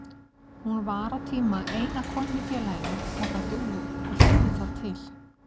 Hún var á tíma eina konan í félaginu og dugði það til.